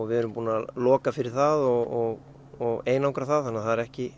við erum búin að loka fyrir það og einangra það þannig það er ekki